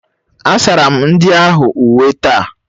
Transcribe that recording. Asara m ndị ahụ uwe taa.